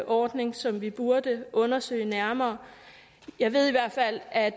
ordning som vi burde undersøge nærmere jeg ved i hvert fald at